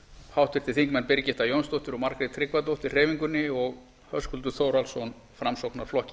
háttvirtir þingmenn birgitta jónsdóttir og margrét tryggvadóttir hreyfingunni og höskuldur þórhallsson framsóknarflokki